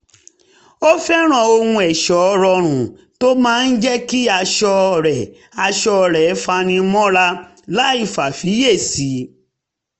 ó fẹ́ràn ohun ẹ̀ṣọ́ rọrùn tó máa jẹ́ kí aṣọ rẹ̀ aṣọ rẹ̀ fani mọ́ra láìfàfiyèsí